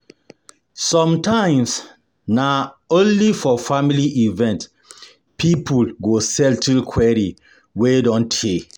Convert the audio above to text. No matter the wahala for this life, small gathering fit help person forget stress